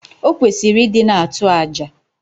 Okwesiri idi na atu aja